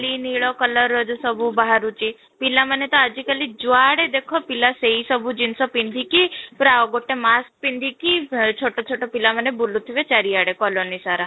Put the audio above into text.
ଲି ନୀଳ color ର ଯୋଉ ସବୁ ବାହାରୁଛି ପିଲା ମାନେ ତ ଆଜି କାଲି ଯୁଆଡେ ଦେଖ ପିଲା ସେଇ ସବୁ ଜିନିଷ ପିନ୍ଧିକି ପୁରା ଆଉ ଗୋଟେ mask ପିନ୍ଧିକି ଅଃ ଛୋଟ ଛୋଟ ପିଲାମାନେ ବୁଲୁଥିବେ ଚାରିଆଡେ କଲୋନୀ ସାରା